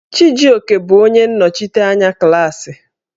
Chijioke bụ onye nnọchiteanya klaasị.